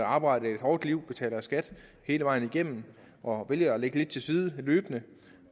arbejdsliv og har betalt skat hele vejen igennem og har valgt at lægge lidt til side løbende